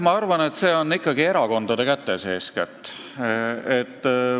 Ma arvan, et see on eeskätt ikkagi erakondade kätes.